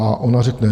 A ona řekne.